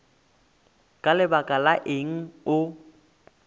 ka lebaka la eng o